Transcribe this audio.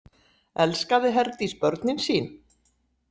Elskaði Herdís börnin sín?